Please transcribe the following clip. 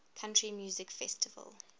country music festival